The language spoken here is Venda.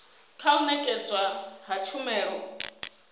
kha u nekedzwa ha tshumelo